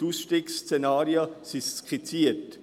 Die Ausstiegsszenarien sind skizziert.